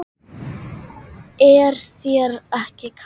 Linda: Er þér ekki kalt?